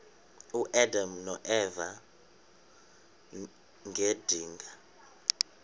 uadam noeva ngedinga